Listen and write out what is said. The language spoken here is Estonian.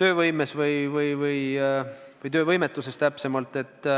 töövõime või õigemini töövõimetuse kohta.